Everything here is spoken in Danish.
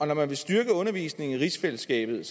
når man vil styrke undervisningen i rigsfællesskabet er